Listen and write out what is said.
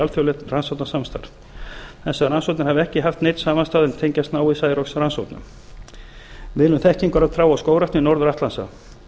alþjóðlegt rannsóknasamstarf þessar rannsóknir hafa ekki haft neinn samastað en tengjast náið særoksrannsóknum miðlun þekkingar á trjá og skógrækt við norður atlantshaf